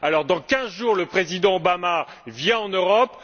Dans quinze jours, le président Obama viendra en Europe.